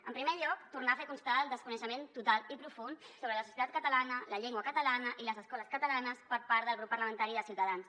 en primer lloc tornar a fer constar el desconeixement total i profund sobre la societat catalana la llengua catalana i les escoles catalanes per part del grup parlamentari de ciutadans